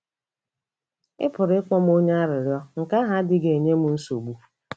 Ị pụrụ ịkpọ m onye arịrịọ, nke ahụ adịghị enye m nsogbu.